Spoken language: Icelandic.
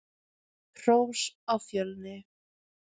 Hrós á Fjölni!